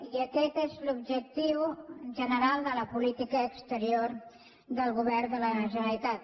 i aquest és l’objectiu general de la política exterior del govern de la generalitat